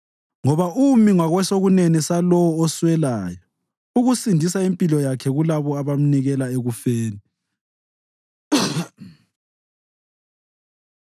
Ngoba umi ngakwesokunene salowo oswelayo, ukusindisa impilo yakhe kulabo abamnikela ekufeni.